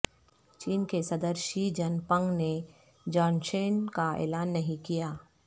چین کے صدر Xi Jinping نے جانشین کا اعلان نہیں کیا